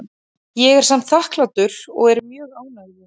Ég er samt þakklátur og er mjög ánægður.